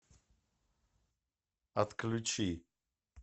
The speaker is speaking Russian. отключи